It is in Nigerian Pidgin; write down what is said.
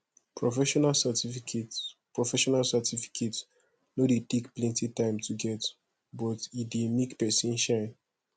professional certificate professional certificate no dey take plenty time to get but e dey make pesin shine